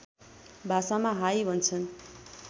भाषामा हाइ भन्छन्